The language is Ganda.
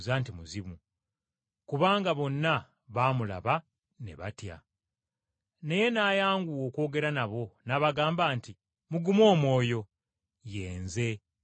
kubanga bonna baamulaba ne batya. Naye n’ayanguwa okwogera nabo, n’abagamba nti, “Mugume omwoyo. Ye Nze, temutya.”